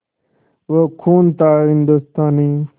वो खून था हिंदुस्तानी